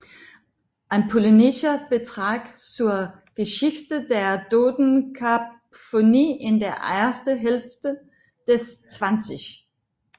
Ein polnischer Beitrag zur Geschichte der Dodekaphonie in der ersten Hälfte des 20